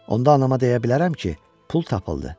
Onda anama deyə bilərəm ki, pul tapıldı.